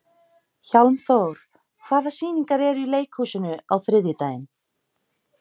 Hjálmþór, hvaða sýningar eru í leikhúsinu á þriðjudaginn?